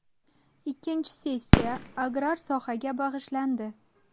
Ikkinchi sessiya agrar sohaga bag‘ishlandi.